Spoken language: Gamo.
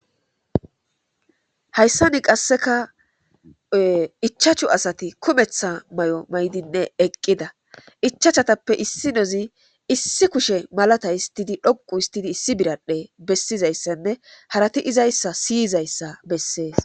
hayssani qasseka ichachu asati kumeththa may7o maydinne eqqida ichachatappe issi nozi issi kushe malata histidi dhoqu histidi issi biradhe bessizayssanne harati izayssa siyizayssa bessees